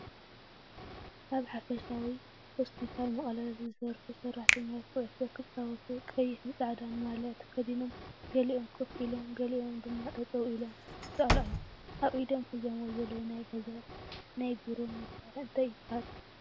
ኣብ ሓፈሻዊ ሆስፒታል መቀለ ዝሰራሑ ሰራሕተኛታት ኩዕሶ ክምፃወቱ ቀይሕን ፃዕዳን ማልያ ተከዲኖም ገሊኦም ኮም ኢሎም ገሊኦም ድማጠጠው ኢሎም ይሰኣሉ ኣለው። ኣብ ኢዶም ሒዞምዎ ዘሎ ናይ ገዛን ናይ ብሮን መሳርሒ እንታይ ይበሃል ?